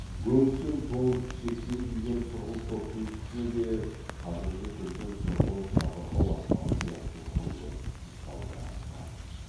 өңшең тон шекпен киген сұрғылт топтың пішіні де қазіргі күздің сұрғылт жабырқау аспаны сияқты күңгірт салбыраңқы